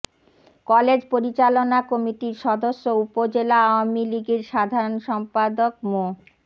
college পরিচালনা কমিটির সদস্য উপজেলা আওয়ামী লীগের সাধারণ সম্পাদক মো